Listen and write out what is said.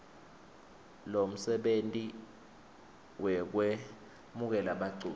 lomsebenti wekwemukela baculi